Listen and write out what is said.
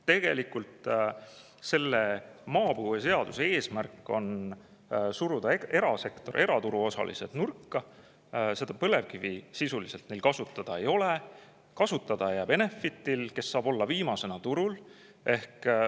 Tegelikult on maapõueseaduse eesmärk suruda erasektor, eraturu osalised nurka, põlevkivi neil sisuliselt kasutada ei ole, kasutada jääb see Enefitile, kes saab olla viimasena turul.